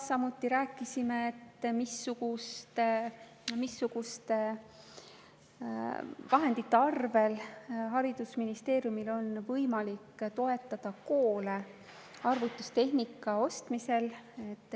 Samuti rääkisime, missugustest vahenditest on haridusministeeriumil võimalik toetada koole arvutustehnika ostmisel.